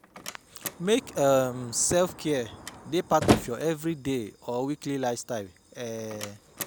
Make um self-care dey part of your everyday or weekly lifestyle um